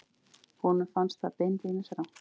Honum fannst það beinlínis rangt.